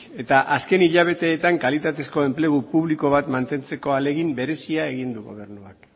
eta azken hilabeteetan kalitatezko enplegu publiko bat mantentzeko ahalegin berezia egin du gobernuak